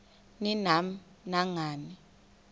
ni nam nangani